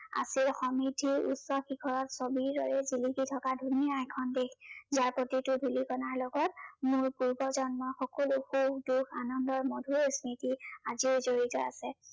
আজি সমৃদ্ধিৰ উচ্চ শিখৰত গভীৰভাৱে জিলিকি থকা ধুনীয়া এখন দেশ। ইয়াৰ প্ৰতিটো ধূলিকণাৰ লগত মোৰ পূৰ্বজন্মৰ সকলো সুখ দুখ, আনন্দৰ মধুৰ স্মৃতি আজিও জড়িত আছে।